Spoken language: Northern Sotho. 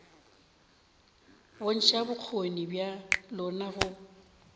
bontšha bokgoni bja lona go